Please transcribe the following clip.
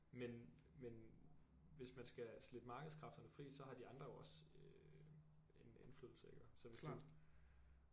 Men men hvis man skal slippe markedskræfterne fri så har de andre jo også øh en indflydelse iggå så hvis du